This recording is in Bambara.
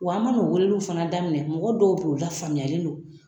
Wa an mana o weleliw daminɛ, daminɛ mɔgɔ dɔw bɛ yen u lafaamuyalen don.